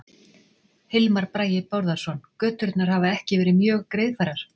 Hilmar Bragi Bárðarson: Göturnar hafa ekki verið mjög greiðfærar?